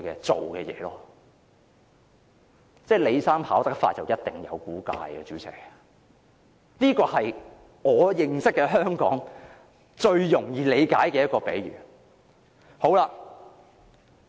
主席，"李生跑得快，一定有古怪"，這就是我認識的最容易理解的香港現況比喻。